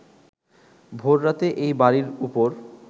ভোররাতে এই বাড়ীর ওপর